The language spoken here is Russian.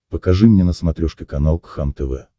покажи мне на смотрешке канал кхлм тв